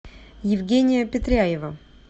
евгения петряева